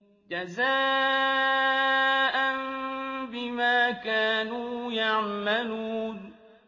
جَزَاءً بِمَا كَانُوا يَعْمَلُونَ